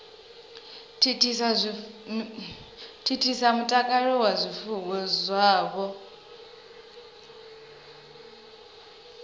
thithisa mutakalo wa zwifuwo zwavho